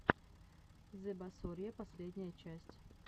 зэбасорья последняя часть